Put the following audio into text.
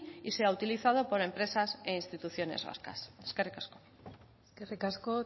y sea utilizado por empresas e instituciones vascas eskerrik asko eskerrik asko